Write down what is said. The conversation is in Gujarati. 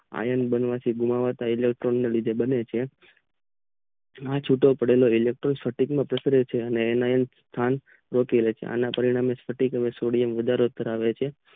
અયન બનવાથી એલેટોનીયુક બને છે આ છૂટો પડેલો એલેટોનીક અને એનો સ્થન ગોથી લે છે અને પરિણામે સોડિયમ વાથરો કરાવે છે